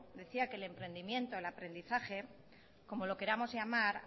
decía que el emprendimiento el aprendizaje como lo queramos llamar